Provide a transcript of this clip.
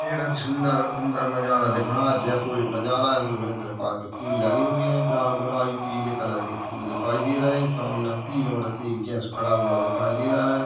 एक अति सूंदर सूंदर नज़ारा दिख रहा है जयपुर एक नज़ारा है इसे अलग प्रकार के फूल लगे हुए है लाल गुलाबी पीले कलर की फूल दिखाई दे रहे सामने तीन औरते एक जेन्ट्स खड़ा हुआ दिखाई दे रहा है।